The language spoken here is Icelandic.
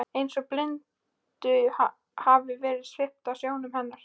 Eins og blindu hafi verið svipt af sjónum hennar.